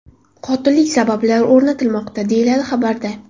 Qotillik sabablari o‘rnatilmoqda”, deyiladi xabarda.